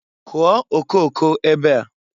Kụọ okooko ebe a!